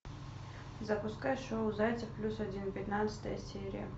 запускай шоу зайцев плюс один пятнадцатая серия